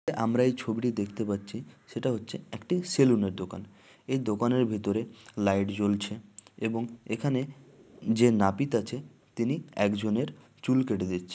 আমরা এই ছবিটি দেখতে পাচ্ছি সেটা হচ্ছে একটি সেলুনের দোকান এই দোকানের ভেতরে লাইট জ্বলছে এবং এখানে যে নাপিত আছে তিনি একজনের চুল কেটে দিচ্ছে।